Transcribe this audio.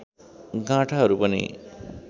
गाँठाहरू पनि